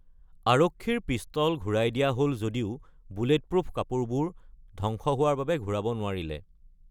আৰক্ষীৰ পিষ্টল ঘূৰাই দিয়া হ’ল যদিও বুলেটপ্ৰুফ কাপুৰবোৰ ধ্বংস হোৱাৰ বাবে ঘূৰাব নোৱাৰিলে।